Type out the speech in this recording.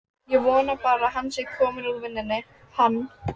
Ég vona bara að hann sé kominn úr vinnunni, hann.